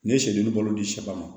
Ne ye sɛ duuru balo di sɛba ma